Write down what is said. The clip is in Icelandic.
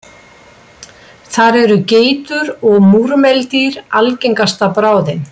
Þar eru geitur og múrmeldýr algengasta bráðin.